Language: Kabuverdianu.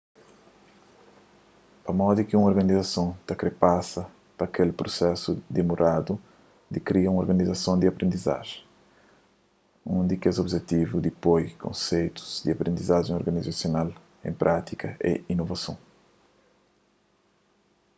pamodi ki un organizason ta kre pasa pa kel prusesu dimoradu di kria un organizason di aprendizajen un di kes objetivu di poi konseitus di aprendizajen organizasional en prátika é inovason